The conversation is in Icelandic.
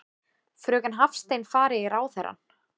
Fröken Hafstein fari í ráðherrann.